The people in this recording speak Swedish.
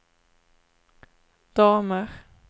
damer